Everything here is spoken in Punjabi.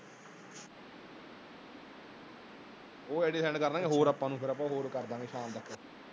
ਉਹ ਆਈ ਡਈਆਂ ਸੈਨਡ ਕਰਨਗੇ ਹੋਰ ਆਪਾਂ ਨੂੰ ਫੇਰ । ਫੇਰ ਆਪਾਂ ਹੋਰ ਕਰ ਦੇਵਾਗੇ ਸ਼ਾਮ ਤੱਕ।